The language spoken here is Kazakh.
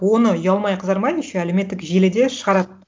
оны ұялмай қызармай еще әлеуметтік желіде шығарады